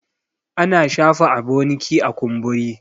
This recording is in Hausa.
ana shafa aboniki a kumburi